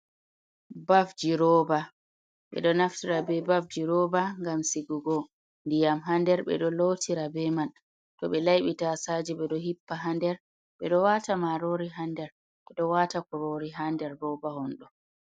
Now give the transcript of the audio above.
Bafji Roba: Ɓeɗo naftira be bafji roba ngam sigugo ndiyam ha nder. Ɓeɗo lotira be man, to be laiɓi tasaje ɓe ɗo hippa ha nder, ɓeɗo wata marori ha nder, ɓeɗo wata kurori ha nder roba honɗo.